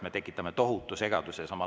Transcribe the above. Me tekitaksime tohutu segaduse.